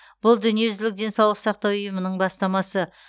бұл дүниежүзілік денсаулық сақтау ұйымының бастамасы